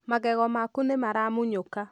Magego maku nĩ maramunyuka.